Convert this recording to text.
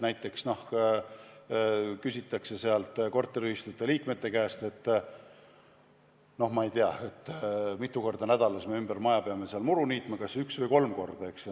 Näiteks küsitakse korteriühistute liikmete käest, mitu korda nädalas me maja ümber peame muru niitma, kas üks või kolm korda.